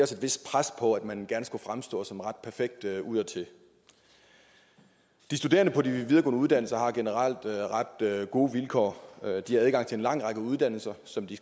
vist pres på at man gerne skulle fremstå som ret perfekt udadtil de studerende på de videregående uddannelser har generelt ret gode vilkår de har adgang til en lang række uddannelser som de